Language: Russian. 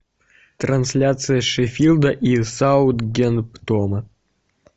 трансляция шеффилда и саутгемптона